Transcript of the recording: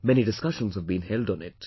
Many discussions have been held on it